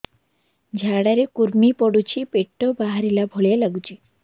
ଝାଡା ରେ କୁର୍ମି ପଡୁଛି ପେଟ ବାହାରିଲା ଭଳିଆ ଲାଗୁଚି